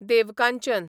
Devkanchan